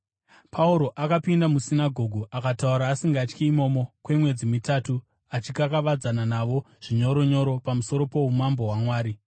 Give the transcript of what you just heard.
Pauro akapinda musinagoge akataura asingatyi imomo kwemwedzi mitatu, achikakavadzana navo zvinyoronyoro pamusoro poumambo hwaMwari.